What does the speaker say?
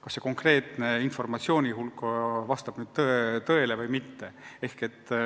kas konkreetne informatsioon vastab tõele või mitte.